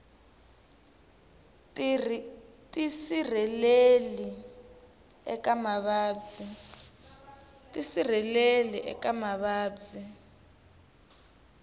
tisirheleli eka mavabyi